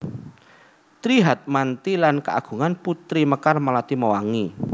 Tri Hatmanti lan kagungan putra Mekar Melati Mewangi